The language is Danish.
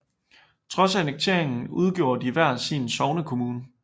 Trods annekteringen udgjorde de hver sin sognekommune